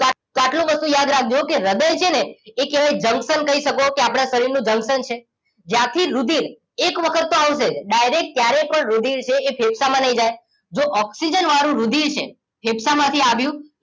આટલી વસ્તુ યાદ રાખજો કે હ્રદય છેને એ કેવાય જંક્શન કહી શકો કે આપણા શરીર નું જંક્શન છે જ્યાંથી રુધિર એ વખતો આવી જાય ડાઇરેક્ટ જયારે પણ રૂધિર છે એ ફેફસા માં નહી જાય જો ઓક્સિજન વાળું રુધિર છે ફેફસામાંથી આવીયું